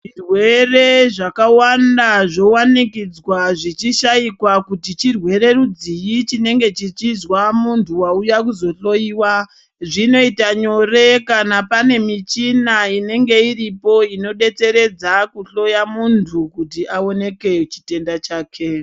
Zvirwere zvakawanda zvovanikidzwa zvichishaikwa kuti chirwere rudzii chinenge chichizwa muntu vauya kuzohloiwa. Zvinoita nyore kana pane michina inonga iripo inobetseredza kuhloya muntu kuti aoneke chitenda chake.